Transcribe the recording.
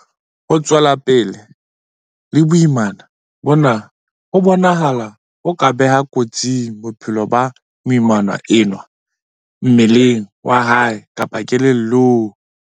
Ho tswela pele le boimana bona ho bonahala ho ka beha kotsing bophelo ba moimana enwa mmeleng wa hae kapa kelellong.